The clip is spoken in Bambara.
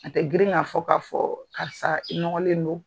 A tɛ girin ka fɔ ka fɔ karisa i nɔgɔlen don.